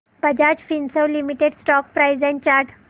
Bajaj Finserv limited stock price and chart